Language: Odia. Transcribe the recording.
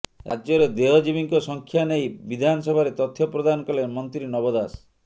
ରାଜ୍ୟରେ ଦେହଜୀବୀଙ୍କ ସଂଖ୍ୟା ନେଇ ବିଧାନସଭାରେ ତଥ୍ୟ ପ୍ରଦାନ କଲେ ମନ୍ତ୍ରୀ ନବ ଦାସ